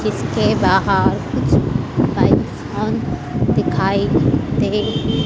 जिसके बाहर कुछ दिखाई दे--